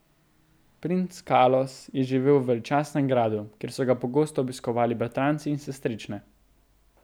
Princ Kalos je živel v veličastnem gradu, kjer so ga pogosto obiskovali bratranci in sestrične.